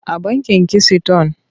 A bankin kisiton.